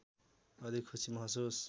अधिक खुसी महसुस